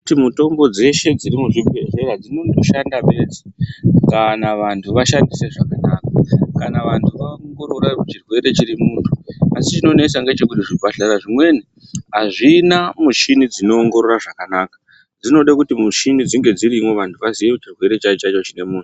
Kuti mitombo dzeshe dzemuzvibhedhlera dzinongoshanda kana vantu vashandise zvakadaro kana vantu vaongororawo churwere chiri mumuntu chinonesa ndechekuti zvibhedhlera zvimweni azvina mushina dzinoongorora zvakanaka zvinoda kuti mushina dzinge dziriyo vantu vazive zvirwere chaicho chaicho chine mumhu.